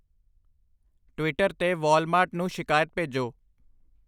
Twitter 'ਤੇ Walmart ਨੂੰ ਸ਼ਿਕਾਇਤ ਭੇਜੋ